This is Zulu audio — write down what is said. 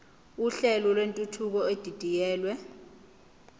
uhlelo lwentuthuko edidiyelwe